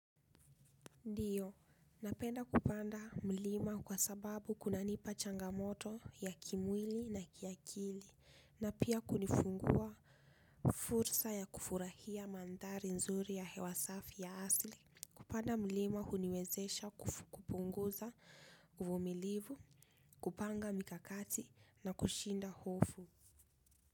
Ndiyo, napenda kupanda mlima kwa sababu kuna nipa changamoto ya kimwili na kiakili. Na pia kunifungua fursa ya kufurahia mandhari nzuri ya hewasafi ya asli. Kupanda mlima huniwezesha kupunguza uvumilivu, kupanga mikakati na kushinda hofu.